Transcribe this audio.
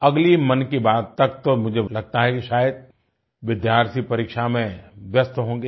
अगली मन की बात तक तो मुझे लगता है शायद विद्यार्थी परीक्षा में व्यस्त होंगें